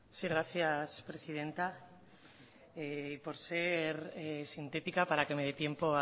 sí gracias presidenta por ser sintética para que me dé tiempo